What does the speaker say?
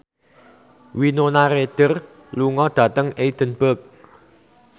Winona Ryder lunga dhateng Edinburgh